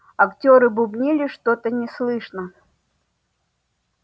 актёры бубнили что-то неслышно